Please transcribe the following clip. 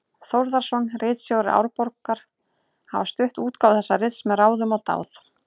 Þórðarson, ritstjóri Árbókar, hafa stutt útgáfu þessa rits með ráðum og dáð.